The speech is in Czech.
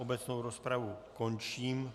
Obecnou rozpravu končím.